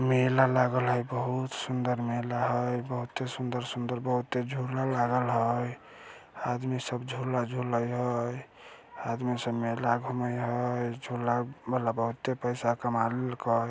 मेला लागल है बहुत सुंदर मेला है बहुते सुंदर-सुंदर बहुते झूला लागल हई आदमी सब झूला झूले हई आदमी सब मेला घूमे हई झूला वाला बहुते पैसा कमा लेल के।